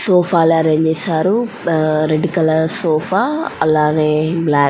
Sofa లు arrange చేసారు. Red colour sofa అలానే బ్లాక్ --